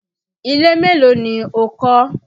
Ilé mélòó ni o kọ́?